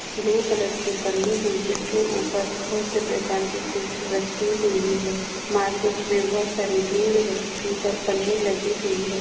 Blue colour की पन्नी हिल जिसके ऊपर बहुत सी बेकार की फिश रखी हुई है मार्केट मे बहुत सारी भीड़ है ऊपर पन्नी लगी हुई हैं।